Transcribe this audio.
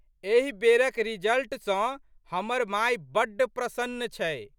एहि बेरक रिजल्ट सँ हमर माय बड़ प्रशन्न छै।